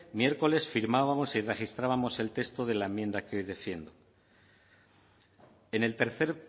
miércoles firmábamos y registrábamos el texto de la enmienda que hoy defiendo en el tercer